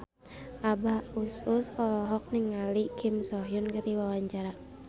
Abah Us Us olohok ningali Kim So Hyun keur diwawancara